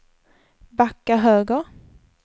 backa höger